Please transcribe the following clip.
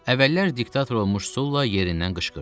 Əvvəllər diktator olmuş Sulla yerindən qışqırdı.